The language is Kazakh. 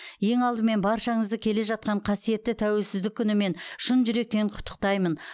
ең алдымен баршаңызды келе жатқан қасиетті тәуелсіздік күнімен шын жүректен құттықтаймын